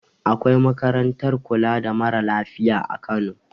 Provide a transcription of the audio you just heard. Akwai makarantar kula da mara lafiya a kano